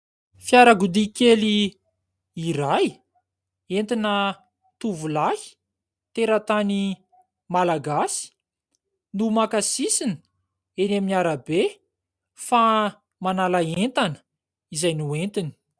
Fiarakodia kely iray, entina tovolahy teratany malagasy no maka sisiny eny amin'ny arabe fa manala entana izay nentiny.